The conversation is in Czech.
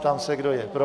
Ptám se, kdo je pro?